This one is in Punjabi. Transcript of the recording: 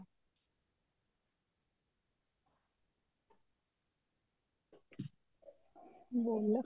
ਬੋਲੋ